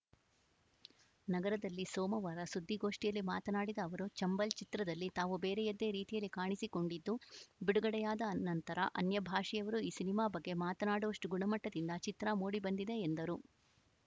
ನಗರದಲ್ಲಿ ಸೋಮವಾರ ಸುದ್ದಿಗೋಷ್ಠಿಯಲ್ಲಿ ಮಾತನಾಡಿದ ಅವರು ಚಂಬಲ್‌ ಚಿತ್ರದಲ್ಲಿ ತಾವು ಬೇರೆಯದ್ದೇ ರೀತಿಯಲ್ಲಿ ಕಾಣಿಸಿಕೊಂಡಿದ್ದು ಬಿಡುಗಡೆಯಾದ ನಂತರ ಅನ್ಯ ಭಾಷೆಯವರೂ ಈ ಸಿನಿಮಾ ಬಗ್ಗೆ ಮಾತನಾಡುವಷ್ಟುಗುಣಮಟ್ಟದಿಂದ ಚಿತ್ರ ಮೂಡಿ ಬಂದಿದೆ ಎಂದರು